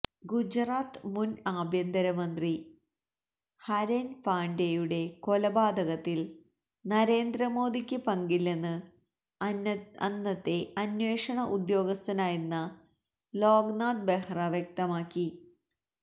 ഗുജറാത്ത് മുന് ആഭ്യന്തരമന്ത്രി ഹരെന് പാണ്ഡ്യയുടെ കൊലപാതകത്തില് നരേന്ദ്ര മോദിക്ക് പങ്കില്ലെന്ന് അന്നത്തെ അന്വേഷണ ഉദ്യോഗസ്ഥനായിരുന്ന ലോക്നാഥ് ബെഹ്റ വ്യക്തമാക്കി